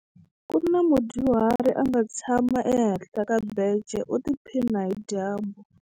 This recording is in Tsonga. Ku na mudyuhari a nga tshama ehenhla ka bence u tiphina hi dyambu.